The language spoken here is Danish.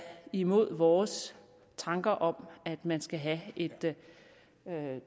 imod vores tanker om at man skal have et